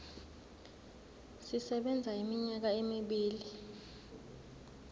sisebenza iminyaka emibili